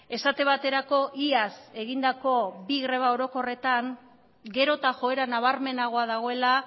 esate baterako iaz egindako bi greba orokorretan gero eta joera nabarmenagoa dagoela